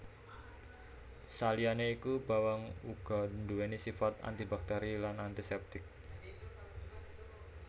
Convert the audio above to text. Saliyané iku bawang uga nduwèni sifat antibakteri lan antisèptik